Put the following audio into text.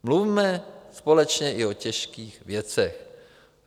Mluvme společně i o těžkých věcech.